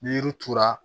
Ni yiri turu la